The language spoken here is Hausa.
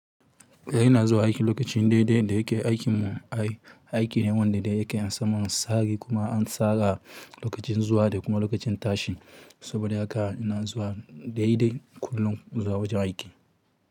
Da ina zuwa aiki lokacin daidai da yake aikin mu, aiki ne wanda yake an samu a tsari kuma an tsara am lokacin zuwa da kuma lokacin tashi. Saboda haka ina zuwa daidai kullum zuwa wajen aiki.